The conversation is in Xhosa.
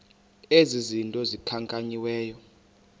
ezi zinto zikhankanyiweyo